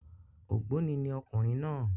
Ògbóni ni ọkùnrin náà